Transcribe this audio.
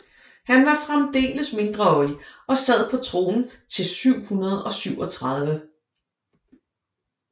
Han var fremdeles mindreårig og sad på tronen til 737